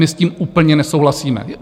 My s tím úplně nesouhlasíme.